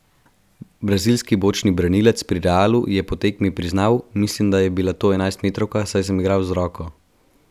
Brazilski bočni branilec pri Realu je po tekmi priznal: "Mislim, da je bila to enajstmetrovka, saj sem igral z roko.